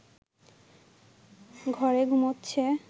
ঘরে ঘুমোচ্ছে